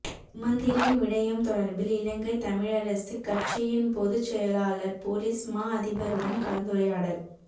சுமந்திரன் விடயம் தொடர்பில் இலங்கைத் தமிழரசுக் கட்சியின் பொதுச் செயலாளர் பொலிஸ் மாஅதிபருடன் கலந்துரையாடல்